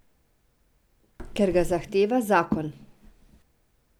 Ker ga zahteva zakon.